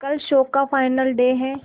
कल शो का final day है